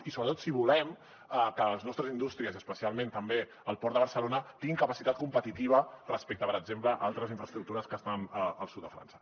i sobretot si volem que les nostres indústries i especialment també el port de barcelona tinguin capacitat competitiva respecte per exemple a altres infraestructures que estan al sud de frança